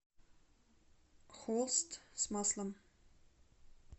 холст с маслом